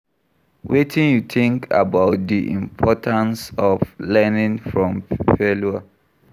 Wetin you think about di importance of learning from failure?